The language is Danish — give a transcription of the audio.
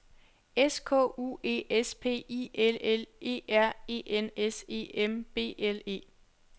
S K U E S P I L L E R E N S E M B L E